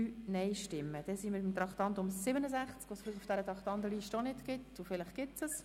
Wir kommen zum Traktandum 67, welches auf dieser Traktandenliste ebenfalls nicht zu finden ist: